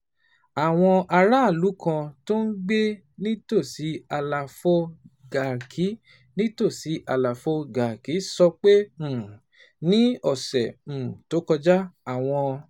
um Àwọn aráàlú kan tó ń gbé nítòsí àlàfo Garki nítòsí àlàfo Garki sọ pé, um ní ọ̀sẹ̀ um tó kọjá, àwọn